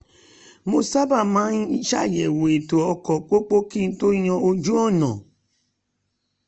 mo sábà máa ń ṣàyẹ̀wò ètò ọkọ̀ pópó kí n tó yàn ojú-ọ̀nà